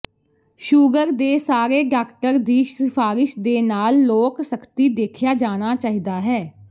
sugar ਦੇ ਸਾਰੇ doctor ਦੀ ਸਿਫਾਰਸ਼ ਦੇ ਨਾਲ ਲੋਕ ਸਖਤੀ ਦੇਖਿਆ ਜਾਣਾ ਚਾਹੀਦਾ ਹੈ